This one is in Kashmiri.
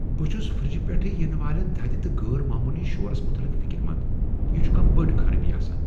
بہٕ چھس فرٛجہِ پیٹھٕ ینہٕ والین تھدِ تہٕ غٲر معموٗلی شورس متعلق فکر مند، یہ چُھ کانہہ بٔڈ خرابی آسان ۔